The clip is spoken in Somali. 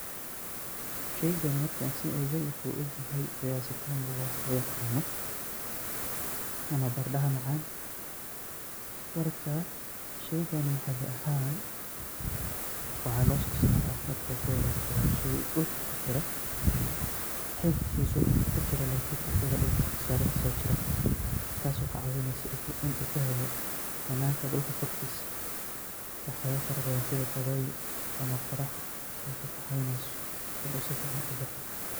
Sheygan markan so eege wuxu ila eg yahay fayasi tamu waxa loyaqano ama baradaha macan marka sheygan maxaali ahan waxa lososara marka horeto wa shey dulka kujira oo xididkisa dulka kujira lakin asaga sare kasojira taso kacawineyso bananka dulka korkisa kahelayo waxyabo badan sida dabeyl ama qorax.